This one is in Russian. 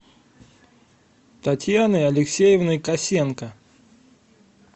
татьяной алексеевной косенко